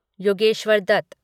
Yogeshwar Dutt